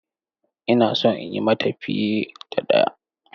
Ina so in yi mata fiye da ɗaya.